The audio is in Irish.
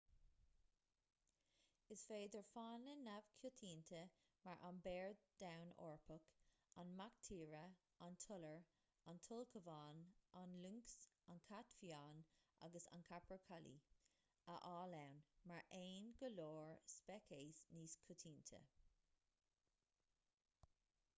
is féidir fána neamhchoitianta mar an béar donn eorpach an mac tíre an t-iolar an t-ulchabhán an lioncs an cat fiáin agus an capercaillie a fháil ann mar aon le go leor speiceas níos coitianta